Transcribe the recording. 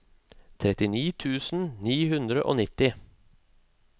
trettini tusen ni hundre og nitti